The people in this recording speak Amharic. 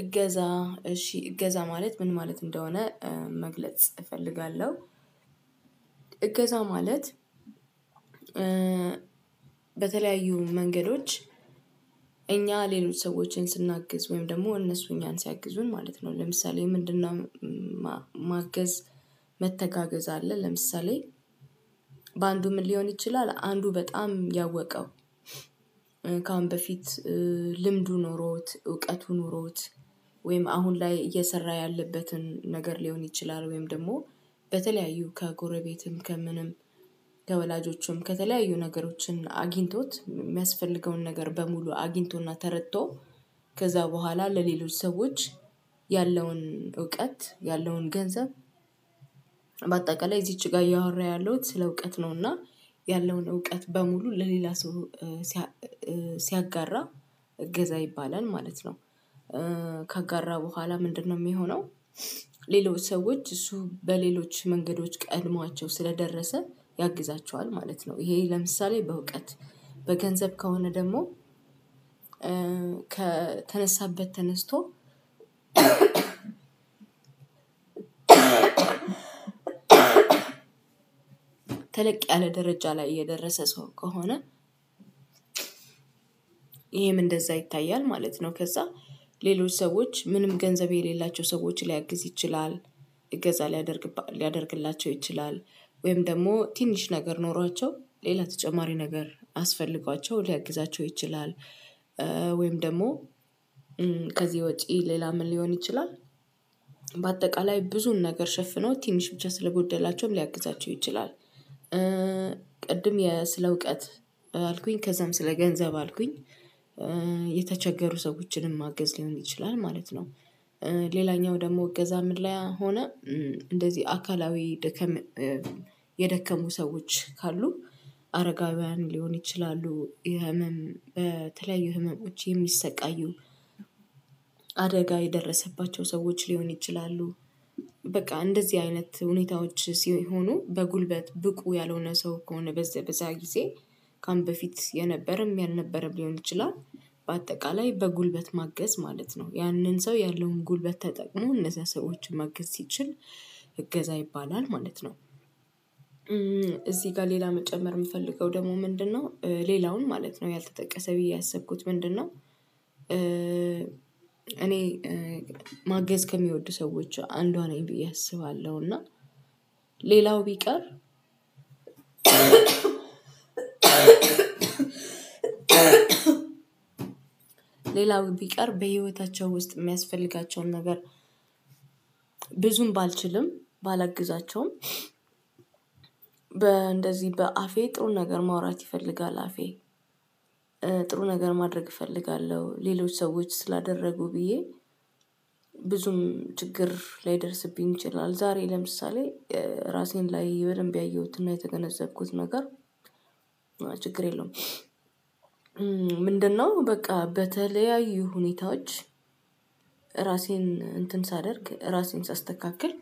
እገዛ እሺ እገዛ ማለት ምን ማለት እንደሆነ መግለጽ እፈልጋለሁ። እገዛ ማለት በተለያዩ መንገዶች እኛ ሌሎች ሰዎችን ስናግዝ ወይም ደግሞ እነሱ እኛን ሲያግዙን ማለት ነው ለምሳሌ ምንድነው? ማገዝ መተጋገዝ አለ። ለምሳሌ በአንዱ ምን ሊሆን ይችላል አንዱ በጣም ያወቀው። ከአሁን በፊት ልምዱ ኖሮት እውቀቱ ኑሮት ወይም አሁን ላይ እየሰራ ያለበትን ነገር ሊሆን ይችላል። ወይም ደግሞ በተለያዩ ከጎረቤትም ከምንም ከወላጆቹም ከተለያዩ ነገሮችን አግኝቶት የሚያስፈልገውን ነገር በሙሉ አግኝቶና ተረቶ። ከዛ በኋላ ለሌሎች ሰዎች ያለውን እውቀት ያለውን ገንዘብ። በአጠቃላይ እዚች ጋር እያወራ ያለውን ስለ እውቀት ነውና ያለውን እውቀት በሙሉ ለሌላ ሰው ሲያጋራ እገዛ ይባላል ማለት ነው። ካጋራ በኋላ ምንድነው የሚሆነው? ሌሎች ሰዎች እሱ በሌሎች መንገዶች ቀድሟቸው ስለደረሰ ያግዛቸዋል ማለት ነው። ይሄ ለምሳሌ በእውቀት በገንዘብ ከሆነ ደግሞ። ከተነሳበት ተነስቶ ተለቅ ያለ ደረጃ ላይ የደረሰ ሰው ከሆነ። ይሄም እንደዛ ይታያል ማለት ነው። ከዛ ሌሎች ሰዎች ምንም ገንዘብ የሌላቸው ሰዎች ሊያግዝ ይችላል። እገዛ ሊያደርግላቸው ሊያደርግላቸው ይችላል። ወይም ደግሞ ትንሽ ነገር ኖሯቸው ሌላ ተጨማሪ ነገር አስፈልጓቸው ሊያግዛቸው ይችላል። ወይም ደግሞ ከዚህ ውጪ ሌላ ምን ሊሆን ይችላል? በአጠቃላይ ብዙን ነገር ሸፍኖ ትንሽ ብቻ ስለጎደላቸውም ሊያግዛቸው ይችላል። ቅድም ስለእውቀት አልኩኝ ከዛም ስለ ገንዘብ አልኩኝ። የተቸገሩ ሰዎችንም ማገዝ ሊሆን ይችላል ማለት ነው። ሌላኛው ደግሞ እገዛ ምለያ ሆነ። እንደዚህ አካላዊ ደከም የደከሙ ሰዎች ካሉ አረጋውያን ሊሆን ይችላሉ የህመም በተለያዩ ህመሞች የሚሰቃዩ። አደጋ የደረሰባቸው ሰዎች ሊሆን ይችላሉ። በቃ እንደዚህ አይነት ሁኔታዎች ሲሆኑ በጉልበት ብቁ ያልሆነ ሰው ከሆነ በዛ በዛ ጊዜ ቀን በፊት የነበረም ያልነበረም ሊሆን ይችላል። በአጠቃላይ በጉልበት ማገዝ ማለት ነው ያንን ሰው ያለውን ጉልበት ተጠቅሞ እነዛ ሰዎችን ማገዝ ሲችል እገዛ ይባላል ማለት ነው። እዚህ ጋር ሌላ መጨመር የምፈልገው ደግሞ ምንድነው? ሌላውን ማለት ነው ያልተጠቀሰ ብዬ ያሰብኩት ምንድነው? እኔ ማገዝ ከሚወዱ ሰዎች አንዷ ነኝ ብዬ አስባለሁ። እና ሌላው ቢቀር ሌላው ቢቀር በህይወታቸው ውስጥ የሚያስፈልጋቸውን ነገር። ብዙም ባልችልም ባላግዛቸውም። በ እንደዚህ በአፌ ጥሩ ነገር ማውራት ይፈልጋል አፌ ጥሩ ነገር ማድረግ እፈልጋለሁ። ሌሎች ሰዎች ስላደረጉ ብዬ ብዙም ችግር ላይደርስብኝ ይችላለን። ዛሬ ለምሳሌ ራሴን ላይ በደንብ ያየሁትና የተገነዘብኩት ነገር ችግር የለውም። ምንድነው በቃ በተለያዩ ሁኔታዎች። ራሴን እንትን ሳደርግ ራሴን ሳስተካክል